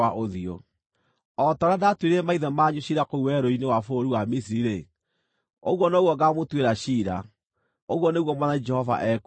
O ta ũrĩa ndaatuĩrĩire maithe manyu ciira kũu werũ-inĩ wa bũrũri wa Misiri-rĩ, ũguo noguo ngaamũtuĩra ciira, ũguo nĩguo Mwathani Jehova ekuuga.